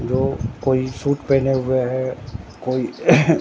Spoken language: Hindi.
वो कोई सूट पहने हुए है कोई।